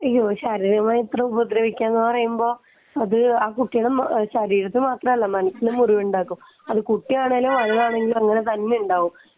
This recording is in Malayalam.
ശാരീരികമായിട്ട് ഉപദ്രവിക്കുക എന്ന് പറയുമ്പോൾ അത് ആ കുട്ടിയുടെ ശരീരത്തിൽ മാത്രമല്ല മനസ്സിലും മുറിവുണ്ടാക്കും അത് കുട്ടിയാണെങ്കിലും വലുതാണെങ്കിലും അങ്ങനെ തന്നെ ഉണ്ടാവും